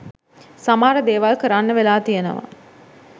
සමහර දේවල් කරන්න වෙලා තියනවා